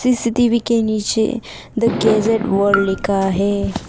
CCTV के नीचे the gadget world लिखा है।